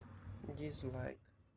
дизлайк